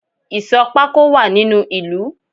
Ìsò pako wá nínu ìlú